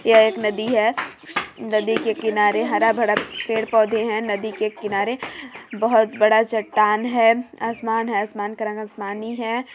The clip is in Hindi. यह एक नदी है नदी के किनारे हरा- भरा पेड़ -पौधे हैं नदी के किनारे बहुत बड़ा चट्टान है आसमान है आसमान का रंग आसमानी है।